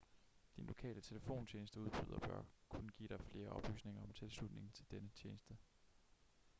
din lokale telefontjenesteudbyder bør kunne give dig flere oplysninger om tilslutning til denne tjeneste